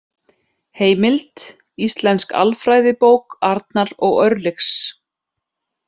Heimild: Íslensk alfræðibók Arnar og Örlygs.